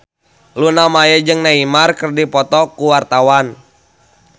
Luna Maya jeung Neymar keur dipoto ku wartawan